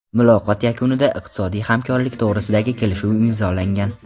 Muloqot yakunida iqtisodiy hamkorlik to‘g‘risidagi kelishuv imzolangan.